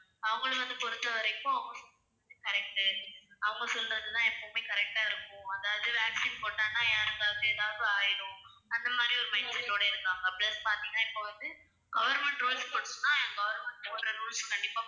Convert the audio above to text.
அவங்களை வந்து பொறுத்தவரைக்கும் correct உ. அவங்க சொல்றதுதான் எப்பவுமே correct ஆ இருக்கும். அதாவது vaccine போட்டான்னா ஏதாவது ஆயிடும். அந்த மாதிரி ஒரு mindset ஓட இருக்காங்க plus பார்த்தீங்கன்னா இப்ப வந்து government rules போட்டுச்சுன்னா government போடுற rules அ கண்டிப்பா